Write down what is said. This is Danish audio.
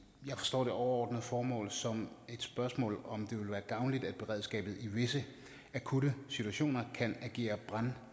jeg forstår det overordnede formål som et spørgsmål om hvorvidt det vil være gavnligt at beredskabet i visse akutte situationer kan agere